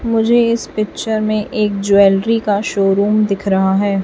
मुझे इस पिक्चर में एक ज्वेलरी का शोरूम दिख रहा है।